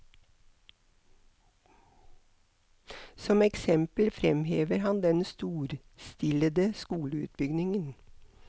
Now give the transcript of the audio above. Som eksempel fremhever han den storstilede skoleutbyggingen.